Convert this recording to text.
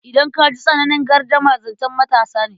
Idan ka ji tsananin gardama, zancen matasa ne.